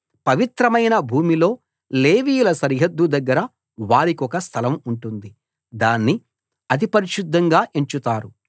పవిత్రమైన భూమిలో లేవీయుల సరిహద్దు దగ్గర వారికొక స్థలం ఉంటుంది దాన్ని అతి పరిశుద్ధంగా ఎంచుతారు